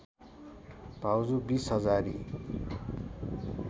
भाउजू बिस हजारी